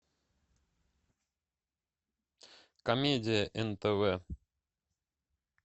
комедия нтв